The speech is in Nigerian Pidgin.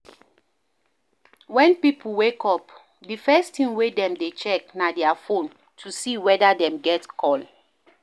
When pipo wake up, di first thing wey dem dey check na their phone to see weda dem get call